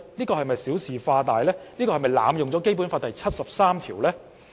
又是否小事化大，濫用《基本法》第七十三條？